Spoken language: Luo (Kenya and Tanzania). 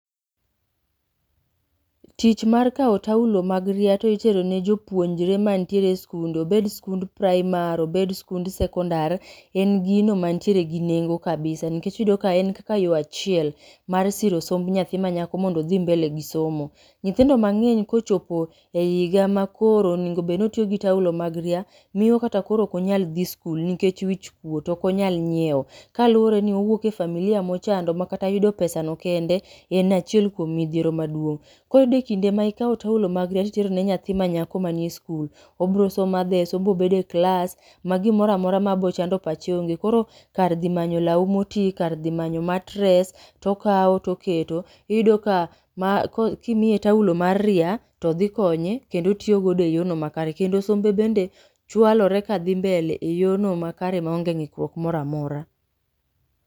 Tich mar kao tawlo mag ria ti itero ne jopuonjre ma ntiere e skunde obed skund praimar, obed skund sekondar, en gino mantie gi nengo kabisa nikech iyude ka en kaka yoo achiel mar siro somb nyathi ma nyako mondo odhi mbele gi somo nyithindo ma ng'eny kochopo e higa ma koro onego bed ni otiyo gi tawlo mag ria miyo kata koro okonyal dhi skul nikech wich kuot okonyal nyieo kalure ni owuok e familia mochando makata yudo pesa no kende en achiel kuom mithiero maduong'. koro iyudo ni kinde ma ikao tawlo mag ria to itero ne nyathi ma nyako ma nie skul obro somo obro bedo e klas ma gimoramora ma biro chando pache ong'e koro kar dhi manyo law moti kar dhi manyo matres] to kao toketo iyudo ka kimiye tawlo mar ria to dhikonye kendo otiyogode e yono makare kendo sombe bende chwalore e yoo ma kare ma onge ngikruok moro amora.